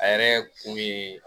A yɛrɛ kun ye